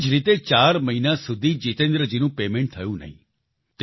તેવી જ રીતે ચાર મહિના સુધી જિતેન્દ્રજીનું પેમેન્ટ થયું નહીં